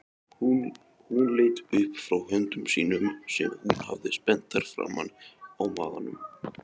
Hún leit upp frá höndum sínum sem hún hafði spenntar framan á maganum.